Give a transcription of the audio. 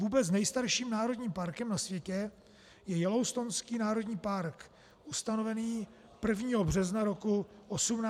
Vůbec nejstarším "národním parkem" na světě je Yellowstonský národní park ustanovený 1. března roku 1872 v Montaně.